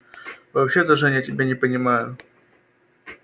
вообще-то жень я тебя не понимаю